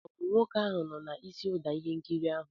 Ọ bụ nwoke ahụ nọ n'isi ụda n'ihe nkiri ahụ?